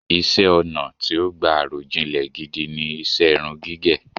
Iṣẹ́-ọnà̀ tí ó gbà àròjinlẹ̀ gidi ni iṣẹ́ irun gígẹ̀.